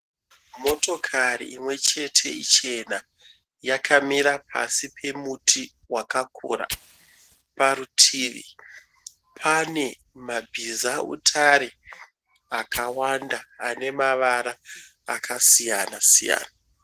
Motokari imwe chete ichena. Yakamira pasi pemuti wakakura. Parutivi pane mabhizautare akawanda ane mavara akasiyana siyana.